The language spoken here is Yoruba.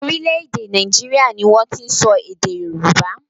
Orílẹ̀-èdè Nàìjíríà ni wọ́n ti ń sọ èdè Yorùbá.